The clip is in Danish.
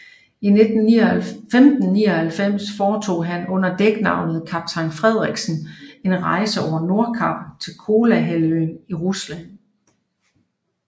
I 1599 foretog han under dæknavnet kaptajn Frederiksen en rejse over Nordkap til Kolahalvøen i Rusland